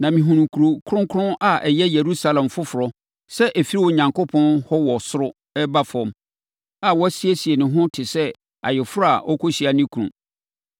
Na mehunuu Kuro Kronkron a ɛyɛ Yerusalem foforɔ sɛ ɛfiri Onyankopɔn hɔ wɔ ɔsoro reba fam, a wasiesie ne ho te sɛ ayeforɔ a ɔrekɔhyia ne kunu.